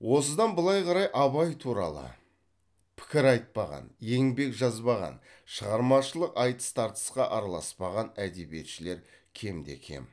осыдан былай қарай абай туралы пікір айтпаған еңбек жазбаған шығармашылық айтыс тартысқа араласпаған әдебиетшілер кем де кем